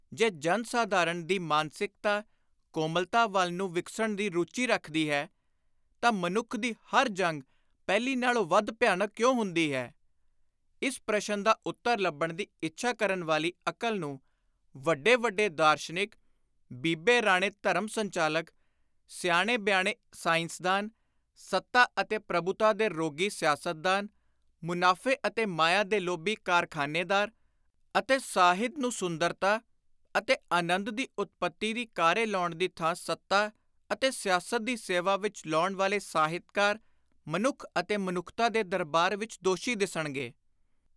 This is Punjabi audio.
ਜੇ ਜਨ-ਸਾਧਾਰਣ ਦੀ ਮਾਨਸਿਕਤਾ, ਕੋਮਲਤਾ ਵੱਲ ਨੂੰ ਵਿਕਸਣ ਦੀ ਰੁਚੀ ਰੱਖਦੀ ਹੈ ਤਾਂ ਮਨੁੱਖ ਦੀ ਹਰ ਜੰਗ ਪਹਿਲੀ ਨਾਲੋਂ ਵੱਧ ਭਿਆਨਕ ਕਿਉਂ ਹੁੰਦੀ ਹੈ ? ਇਸ ਪ੍ਰਸ਼ਨ ਦਾ ਉੱਤਰ ਲੱਭਣ ਦੀ ਇੱਛਾ ਕਰਨ ਵਾਲੀ ਅਕਲ ਨੂੰ, ਵੱਡੇ ਵੱਡੇ ਦਾਰਸ਼ਨਿਕ, ਬੀਬੇ ਰਾਣੇ ਧਰਮ-ਸੰਚਾਲਕ, ਸਿਆਣੇ ਬਿਆਣੇ ਸਾਇੰਸਦਾਨ, ਸੱਤਾ ਅਤੇ ਪ੍ਰਭੁਤਾ ਦੇ ਰੋਗੀ ਸਿਆਸਤਦਾਨ, ਮੁਨਾਫ਼ੇ ਅਤੇ ਮਾਇਆ ਦੇ ਲੋਭੀ ਕਾਰਖ਼ਾਨੇਦਾਰ ਅਤੇ ਸਾਹਿਤ ਨੂੰ ਸੁੰਦਰਤਾ ਅਤੇ ਆਨੰਦ ਦੀ ਉਤਪਤੀ ਦੀ ਕਾਰੇ ਲਾਉਣ ਦੀ ਥਾਂ ਸੱਤਾ ਅਤੇ ਸਿਆਸਤ ਦੀ ਸੇਵਾ ਵਿਚ ਲਾਉਣ ਵਾਲੇ ਸਾਹਿਤਕਾਰ, ਮਨੁੱਖ ਅਤੇ ਮਨੁੱਖਤਾ ਦੇ ਦਰਬਾਰ ਵਿਚ ਦੋਸ਼ੀ ਦਿਸਣਗੇ।